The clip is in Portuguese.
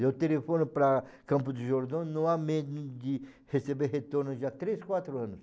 Eu telefono para Campos do Jordão, não há medo de receber retorno já há três, quatro anos.